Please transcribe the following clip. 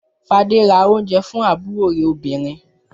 Fadé ra oúnjẹ fún àbúrò rẹ̀ obìnrin.